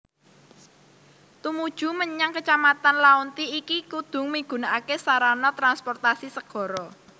Tumuju mmenyang kecamatan Laonti iki kudu migunakaké sarana transportasi segara